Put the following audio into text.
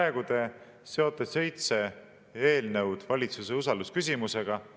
Praegu te seote seitse eelnõu valitsuse usalduse küsimusega.